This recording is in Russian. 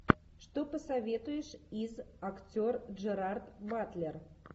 что посоветуешь из актер джерард батлер